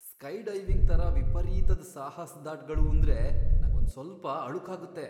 Skydiving ಥರ ವಿಪರೀತದ್ ಸಾಹಸ್ದಾಟ್ಗಳೂಂದ್ರೆ ನಂಗೊಂದ್ಸ್ವಲ್ಪ ಅಳುಕಾಗತ್ತೆ.